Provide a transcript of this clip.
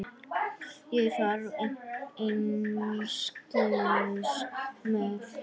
Ég þarf einskis með.